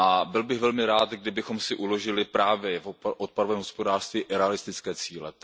Byl bych velmi rád, kdybychom si uložili právě v odpadovém hospodářství realistické cíle.